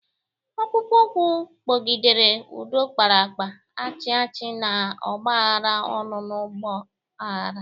Ọkpụkpụ ụkwụ kpọgidere, ụdọ kpara akpa, achị achị n'ọgbaaghara ọṅụ n'ọgba aghara.